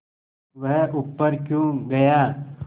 वह ऊपर क्यों गया